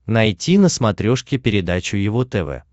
найти на смотрешке передачу его тв